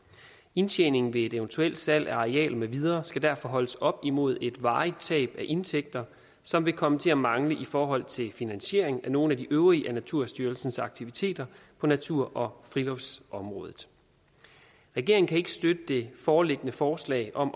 indtjening ved et eventuelt salg af arealer med videre skal derfor holdes op imod et varigt tab af indtægter som vil komme til at mangle i forhold til finansiering af nogle af de øvrige af naturstyrelsens aktiviteter på natur og friluftsområdet regeringen kan ikke støtte det foreliggende forslag om